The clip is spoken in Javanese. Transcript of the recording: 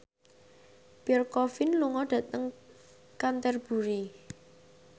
Pierre Coffin lunga dhateng Canterbury